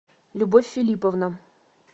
любовь филипповна